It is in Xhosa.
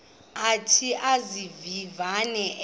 athi izivivane ezi